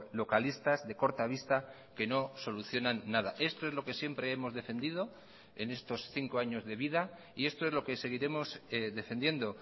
localistas de corta vista que no solucionan nada esto es lo que siempre hemos defendido en estos cinco años de vida y esto es lo que seguiremos defendiendo